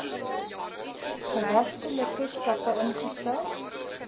geregtelike stappe ingestel